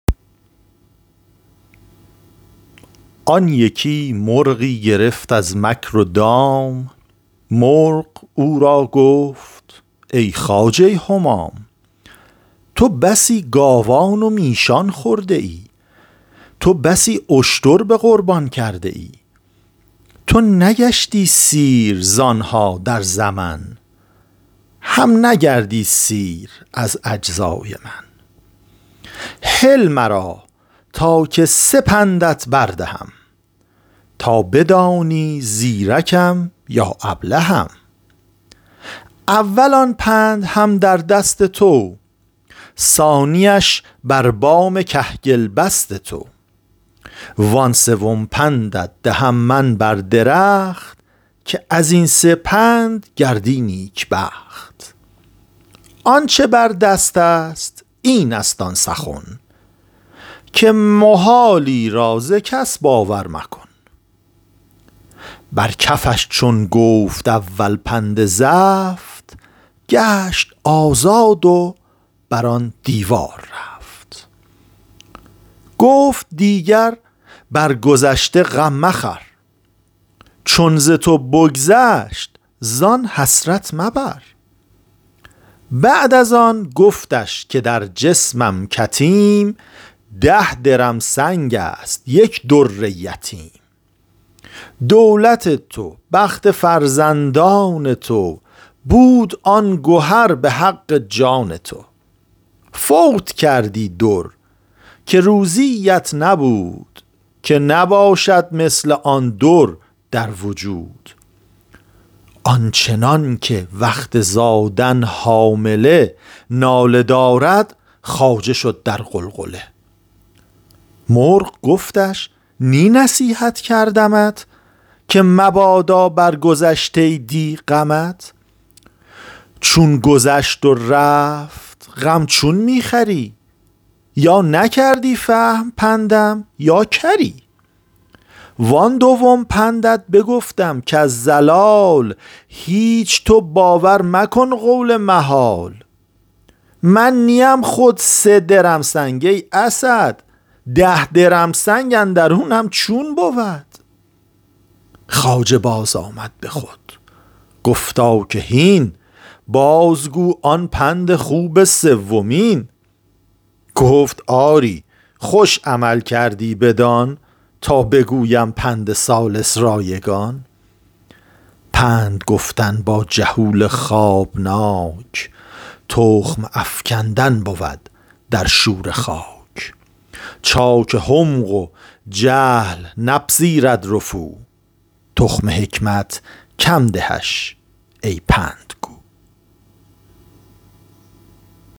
آن یکی مرغی گرفت از مکر و دام مرغ او را گفت ای خواجه همام تو بسی گاوان و میشان خورده ای تو بسی اشتر به قربان کرده ای تو نگشتی سیر زانها در زمن هم نگردی سیر از اجزای من هل مرا تا که سه پندت بر دهم تا بدانی زیرکم یا ابلهم اول آن پند هم در دست تو ثانیش بر بام کهگل بست تو وآن سوم پندت دهم من بر درخت که ازین سه پند گردی نیکبخت آنچ بر دستست اینست آن سخن که محالی را ز کس باور مکن بر کفش چون گفت اول پند زفت گشت آزاد و بر آن دیوار رفت گفت دیگر بر گذشته غم مخور چون ز تو بگذشت زان حسرت مبر بعد از آن گفتش که در جسمم کتیم ده درمسنگست یک در یتیم دولت تو بخت فرزندان تو بود آن گوهر به حق جان تو فوت کردی در که روزی ات نبود که نباشد مثل آن در در وجود آنچنان که وقت زادن حامله ناله دارد خواجه شد در غلغله مرغ گفتش نی نصیحت کردمت که مبادا بر گذشته دی غمت چون گذشت و رفت غم چون می خوری یا نکردی فهم پندم یا کری وان دوم پندت بگفتم کز ضلال هیچ تو باور مکن قول محال من نیم خود سه درمسنگ ای اسد ده درمسنگ اندرونم چون بود خواجه باز آمد به خود گفتا که هین باز گو آن پند خوب سیومین گفت آری خوش عمل کردی بدان تا بگویم پند ثالث رایگان پند گفتن با جهول خوابناک تخم افکندن بود در شوره خاک چاک حمق و جهل نپذیرد رفو تخم حکمت کم دهش ای پندگو